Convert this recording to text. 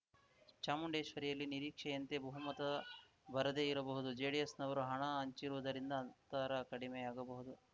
ಚಾಮುಂಡೇಶ್ವರಿಯಲ್ಲಿ ನಿರೀಕ್ಷೆಯಂತೆ ಬಹುಮತ ಬರದೇ ಇರಬಹುದು ಜೆಡಿಎಸ್‌ನವರು ಹಣ ಹಂಚಿರುವುದರಿಂದ ಅಂತರ ಕಡಿಮೆಯಾಗಬಹುದು